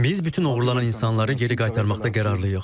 Biz bütün oğurlanan insanları geri qaytarmaqda qərarlıyıq.